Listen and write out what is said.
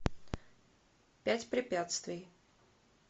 пять препятствий